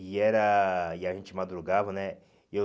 E era e a gente madrugava, né? E eu